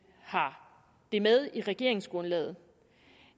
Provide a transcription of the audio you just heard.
har det med i regeringsgrundlaget